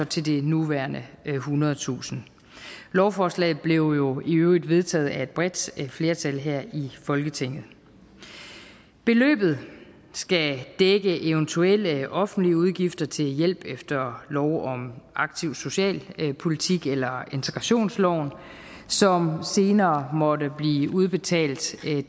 til de nuværende ethundredetusind lovforslaget blev jo i øvrigt vedtaget af et bredt flertal her i folketinget beløbet skal dække eventuelle offentlige udgifter til hjælp efter lov om aktiv socialpolitik eller integrationsloven som senere måtte blive udbetalt til